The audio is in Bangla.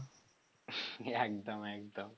একদম একদম